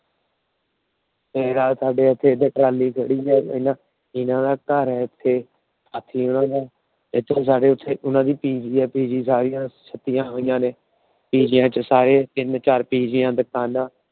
ਰਾਹ ਚ ਸਾਡੇ ਉੱਥੇ Trally ਖੜੀ ਆ। ਇਹਨਾਂ ਦਾ ਘਰ ਆ ਇੱਥੇ। ਇਹਨਾਂ ਦਾ ਇੱਥੇ ਇੱਥੇ ਸਾਰੇ ਉਹਨਾਂ ਦਾ Pg ਏ। Pg ਚ ਛੁੱਟੀਆਂ ਹੋਈਆਂ ਨੇ। ਪੀ ਜੀਆ ਚ ਸਾਰਿਆਂ ਚ ਪੀ ਜੀਆ ਸਾਰੇ ਤਿੰਨ ਚਾਰ Pg ਆ ਦਿਖਾਨਾ ਆ ।